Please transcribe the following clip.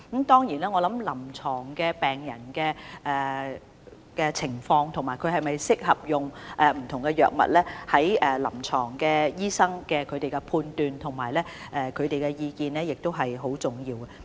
當然，我認為病人的臨床情況、他是否適合使用不同藥物，以及醫生的臨床判斷及意見，亦相當重要。